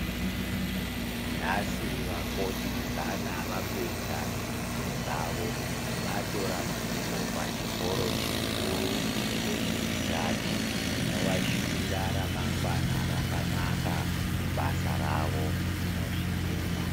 Nhasi vakoti zana vapedza dzidzo dzavo. Vatora mhiko pachikoro chikuru chezveutano. Tinovashuvira ramangwana rakanaka mubasa ravo, tinozvitenda.